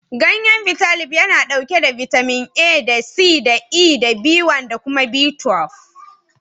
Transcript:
Gayyen Bitalib yana ɗauke da bitamin A da C da E da B1 da kuma B12.